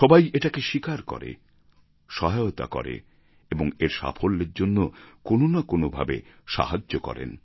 সবাই এটাকে স্বীকার করে সহায়তা করে এবং এর সাফল্যের জন্য কোনো না কোনো ভাবে সাহায্য করেন